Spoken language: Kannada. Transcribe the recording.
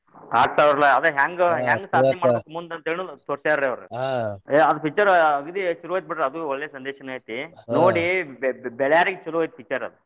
ಆಗ್ತಾವ್ರಿಲಾ ಅದ್ ಹೆಂಗ ಹೆಂಗ ಸಾದ್ನಿ ಮಾಡಬೇಕನ್ನೋದು ತೋರಸ್ಯಾರ ಅವ್ರ ಏ ಅದ್ picture ಅಗದೀ ಚೊಲೋ ಐತಿ ಬಿಡ್ರಿ ಒಳ್ಳೆ ಸಂದೇಶನ ಐತಿ ನೋಡಿ ಬಿಳ್ಯಾವ್ರಿಗ ಚೊಲೋ ಐತಿ picture ಅದ್.